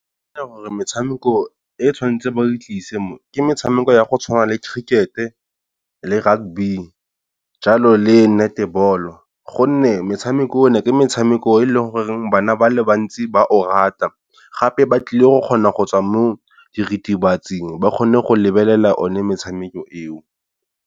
Ke gore metshameko e tshwanetseng ba e tlise ke metshameko ya go tshwana le cricket-e le rugby jalo le netball-o gonne metshameko e, ke metshameko e leng gore bana ba le bantsi ba o rata gape ba tlile go kgona go tswa mo diritibatsing ba kgone go lebelela o ne metshameko eo.